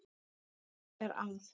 Hann er að